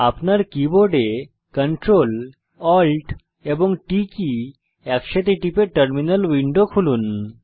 আপনার keyboard Ctrl Alt এবং T একসাথে টিপে টার্মিনাল উইন্ডো খুলুন